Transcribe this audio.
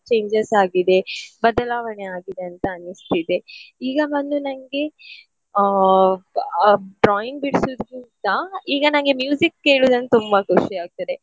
Changes ಆಗಿದೆ ಬದಲಾವಣೆ ಆಗಿದೆ ಅಂತ ಅನಿಸ್ತಿದೆ. ಈಗ ಬಂದು ನನ್ಗೆ ಆ ಬ~ drawing ಬಿಡಿಸುದಕಿಂತ ಈಗ ನನ್ಗೆ ಕೇಳುದಂದ್ರೆ ತುಂಬ ಖುಷಿ ಆಗ್ತದೆ.